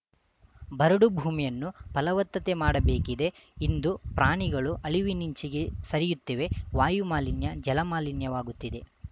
ಬರಡು ಭೂಮಿಯನ್ನು ಫಲವತ್ತತೆ ಮಾಡಬೇಕಿದೆ ಇಂದು ಪ್ರಾಣಿಗಳು ಅಳಿವಿನಿಂಚಿಗೆ ಸರಿಯುತ್ತಿವೆ ವಾಯುಮಾಲಿನ್ಯ ಜಲಮಾಲಿನ್ಯವಾಗುತ್ತಿದೆ